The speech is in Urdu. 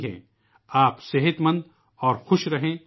خداکرے کہ آپ سب صحت مند اور خوش رہیں